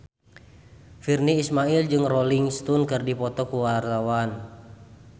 Virnie Ismail jeung Rolling Stone keur dipoto ku wartawan